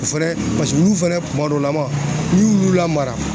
O fɛnɛ paseke olu fɛnɛ kuma dɔ lama n'i y'u lamara